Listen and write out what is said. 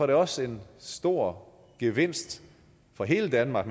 det også en stor gevinst for hele danmark